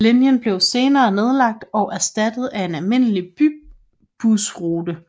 Linjen blev senere nedlagt og erstattet af en almindelig bybusrute 601